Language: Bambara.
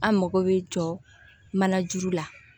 An mago bɛ jɔ manajuru la